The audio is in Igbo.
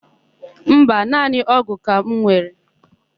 Mba, naanị ọ́gụ̀ ka m were.